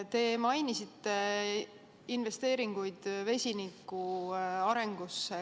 Te mainisite investeeringuid vesinikutehnoloogia arengusse.